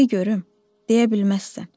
De görüm, deyə bilməzsən.